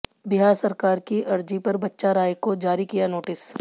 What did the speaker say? बिहार सरकार की अर्जी पर बच्चा राय को जारी किया नोटिस